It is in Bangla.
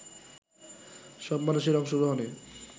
সব মানুষের অংশগ্রহণে